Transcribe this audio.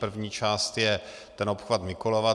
První část je ten obchvat Mikulova.